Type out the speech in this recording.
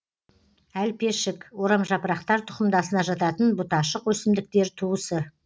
әлпешік орамжапырақтар тұқымдасына жататын бұташық өсімдіктер туысы